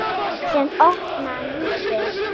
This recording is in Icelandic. Síðan opnaði hann húsið.